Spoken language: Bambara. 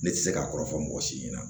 Ne tɛ se k'a kɔrɔ fɔ mɔgɔ si ɲɛna